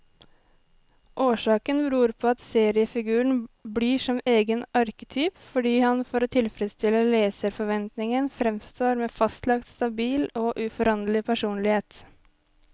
Årsaken beror på at seriefiguren blir som egen arketyp, fordi han for å tilfredstille leserforventningen framstår med fastlagt, stabil og uforanderlig personlighet.